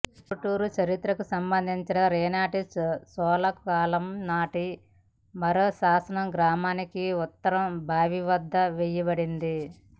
ఉరుటూరి చరిత్రకు సంబంధించిన రేనాటి చోళుల కాలంనాటి మరో శాసనం గ్రామానికి ఉత్తరం బావివద్ద వేయబడింది